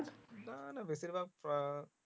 না না বেশির ভাগ